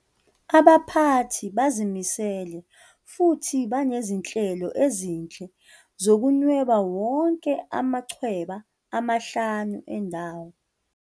Abaphathi bazimisele futhi banezinhlelo ezinhle zokunweba wonke amachweba amahlanu endawo.